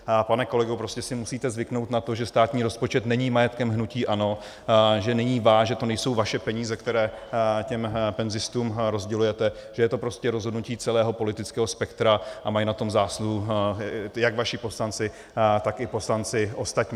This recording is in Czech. Pane kolego, prostě si musíte zvyknout na to, že státní rozpočet není majetkem hnutí ANO, že není váš, že to nejsou vaše peníze, které těm penzistům rozdělujete, že je to prostě rozhodnutí celého politického spektra a mají na tom zásluhu jak vaši poslanci, tak i poslanci ostatní.